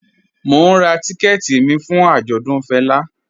Mò n rá tìkẹ̀tì mi fún ạjọdùn Fẹla